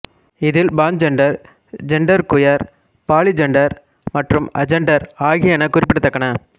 இதில் pangender genderqueer polygender மற்றும் agender ஆகியன குறிப்பிடத்தக்கன